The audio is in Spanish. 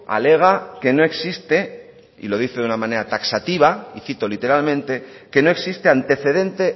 alega que no existe y lo dice de una manera taxativa y cito literalmente que no existe antecedente